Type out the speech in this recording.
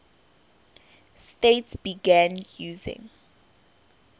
states began using